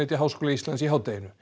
Háskóla Íslands í hádeginu